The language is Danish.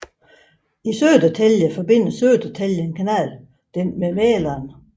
I Södertälje forbinder Södertälje kanal den med Mäleren